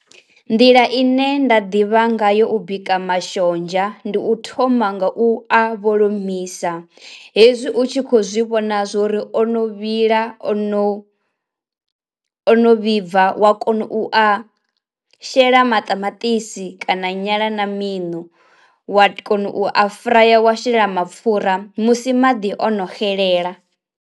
Nḓila ine nda ḓivha nga yo u bika mashonzha, ndi u thoma nga u a vholomisa hezwi u tshi kho zwi vhona zwori o no vhila o no ono vhibva wa kona u a shela maṱamaṱisi kana nyala na miṋu, wa kona u a furaya wa shelela mapfura musi maḓi ono xelela.